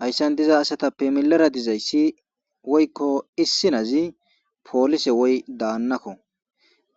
hayssan diza asatappe milera dizayssi woykko issinazi poolise woy daannakko